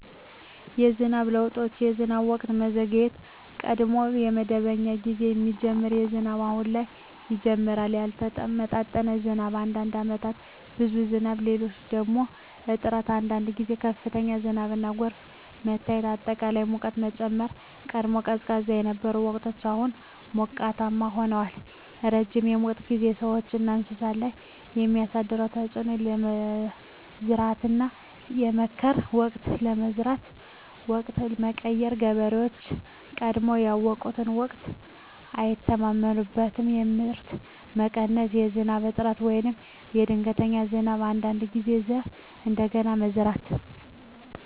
የዝናብ ለውጦች የዝናብ ወቅት መዘግየት – ቀድሞ በመደበኛ ጊዜ የሚጀምር ዝናብ አሁን በኋላ ይጀምራል ያልተመጣጠነ ዝናብ – አንዳንድ ዓመታት ብዙ ዝናብ፣ ሌሎች ደግሞ እጥረት አንዳንድ ጊዜ ከፍተኛ ዝናብና ጎርፍ መታየት አጠቃላይ ሙቀት መጨመር – ቀድሞ ቀዝቃዛ የነበሩ ወቅቶች አሁን ሞቃት ሆነዋል ረጅም የሙቀት ጊዜ – ሰዎችና እንስሳት ላይ የሚያደርስ ተፅዕኖ የመዝራትና የመከር ወቅት የመዝራት ወቅት መቀየር – ገበሬዎች ቀድሞ ያውቁትን ወቅት አይተማመኑበትም የምርት መቀነስ – በዝናብ እጥረት ወይም በድንገተኛ ዝናብ አንዳንድ ጊዜ ዘር እንደገና መዝራት